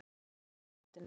Álstigi á grasflötinni.